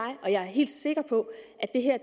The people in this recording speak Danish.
helt sikker på at